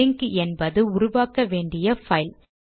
link என்பது உருவாக்க வேண்டிய பைல்